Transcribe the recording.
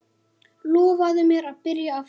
Lofaðu mér að byrja aftur!